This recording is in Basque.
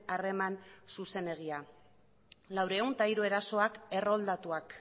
harreman zuzenegia laurehun eta hiru erasoak erroldatuak